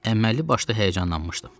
Əməlli başlı həyəcanlanmışdım.